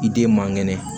I den man kɛnɛ